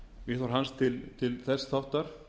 viðhorf hans til þess þáttar